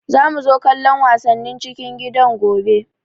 Za mu zo kallon wasannin cikin gidan gobe